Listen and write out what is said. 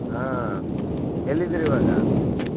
ಹಾ ಎಲ್ಲಿದ್ದೀರಿ ಇವಾಗ?